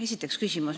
Esiteks küsimus.